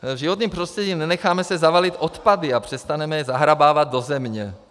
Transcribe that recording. V životním prostředí - nenecháme se zavalit odpady a přestaneme je zahrabávat do země.